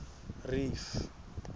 reef